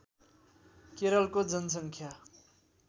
केरलको जनसङ्ख्या